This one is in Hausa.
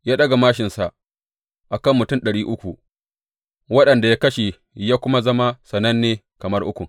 Ya ɗaga māshinsa a kan mutum ɗari uku, waɗanda ya kashe, ya kuma zama sananne kamar Ukun.